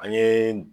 An ye